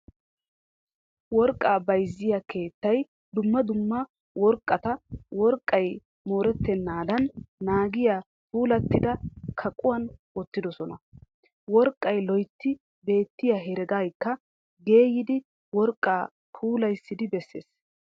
Worqqaa bayzziyaa keettay dumma dumma worqqata worqqay mooretennaadan naagiyaa puullattida kaqquwan woottidosona. worqqay loytti beettiya heregaykka geeyidi worqqaa phoolisidi bessees.